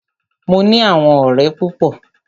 Mo ní àwọn ọ̀rẹ́ púpọ.